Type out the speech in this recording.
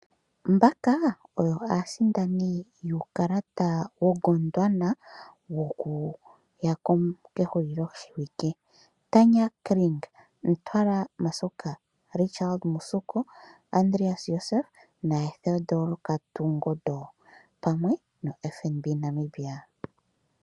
Mbaka oyo aasindani yuukalata wokudhana wokuya kehulilo shiwike, Tanya Kring, Ntwala Masuka, Richard Mushoko, Josef Andreas, Theodore Kotungondo pamwe no FNB Namibia.